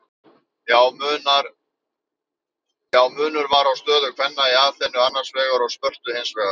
Já, munur var á stöðu kvenna í Aþenu annars vegar og Spörtu hins vegar.